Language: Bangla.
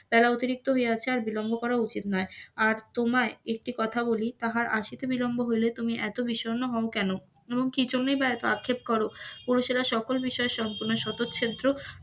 বেলা অতিরিক্ত হইয়াছে আর বিলম্ব করাও উচিৎ নয়, আর তোমায় একটি কথা বলি তাহার আসিতে বিলম্ব হইলে তুমি এত বিষণ্ণ হোউ কেন, এমনকি চল্লিশবার আক্ষেপ কর পুরুষেরা সকল বিষয়ে সম্পুর্ন শতছেদ্য,